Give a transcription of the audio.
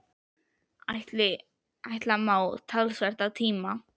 Ætla má, að talsvert af tíma